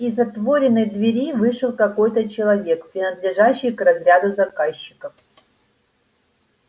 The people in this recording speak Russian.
из отворенной двери вышел какой-то человек принадлежащий к разряду заказчиков